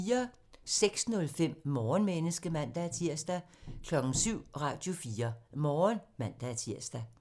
06:05: Morgenmenneske (man-tir) 07:00: Radio4 Morgen (man-tir)